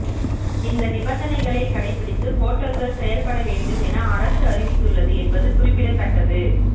இந்த நிபந்தனைகளை கடைபிடித்து ஹோட்டல்கள் செயல்பட வேண்டும் என அரசு அறிவித்துள்ளது என்பது குறிப்பிடத்தக்கது